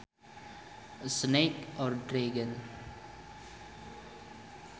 A snake or dragon